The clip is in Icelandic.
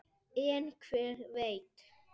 En hver veit?